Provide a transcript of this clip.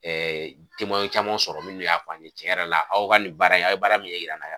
Ɛɛ jama caman sɔrɔ minnu y'a fɔ a ni tiɲɛ yɛrɛ la aw ka nin baara in aw ye baara min ye ɲɛ yira an na